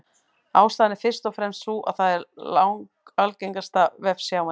Ástæðan er fyrst og fremst sú að það er langalgengasta vefsjáin.